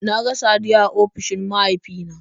Na ga Saddiya a ofishin mahaifina